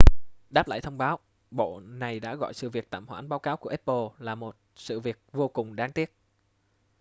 đáp lại thông báo bộ này đã gọi sự việc tạm hoãn báo cáo của apple là một sự việc vô cùng đáng tiếc